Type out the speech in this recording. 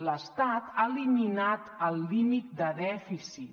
l’estat ha eliminat el límit de dèficit